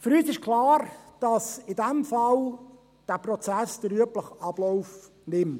Für uns ist klar, dass der Prozess in diesem Fall den üblichen Ablauf nimmt.